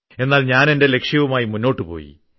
എന്നാൽ ഞാനെന്റെ ലക്ഷ്യവുമായി മുന്നോട്ടുപോയി